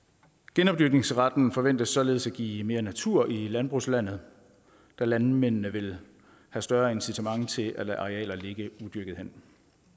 genopdyrkningsretten forventes således at give mere natur i landbrugslandet da landmændene vil have større incitament til at lade arealer ligge udyrkede hen